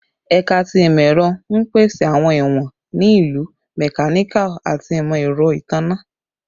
Ẹka ti Imọ-ẹrọ n pese awọn iwọn ni Ilu, Mechanical, ati Imọ-ẹrọ Itanna